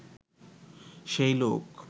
সেই লোক